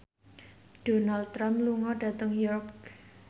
Donald Trump lunga dhateng York